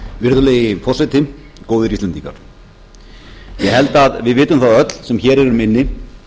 virðulegi forseti góðir íslendingar ég held að við vitum það öll sem hér erum inni